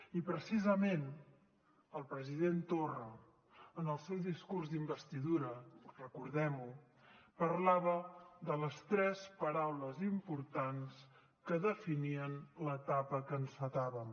i precisament el president torra en el seu discurs d’investidura recordem ho parlava de les tres paraules importants que definien l’etapa que encetàvem